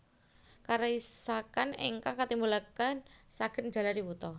Karisakan ingkang katimbulaken saged njalari wuta